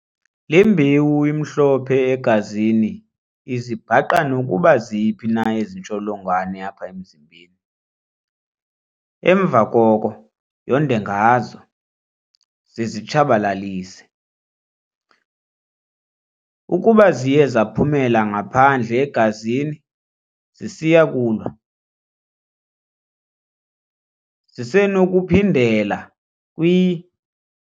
Le mbewu imhlophe egazini izibhaqa nokokuba ziphi na ezi ntsholongwane apha emzimbeni, emva koko yonde ngazo, zizitshabalalise. Ukuba ziye zaphumela ngaphandle egazini zisiya kulwa, zisenokuphindela kwi.